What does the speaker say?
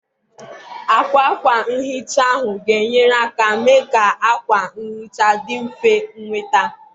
Àkwà ákwá nhicha ahụ ga-enyere aka mee ka akwa nhicha dị mfe ịnweta.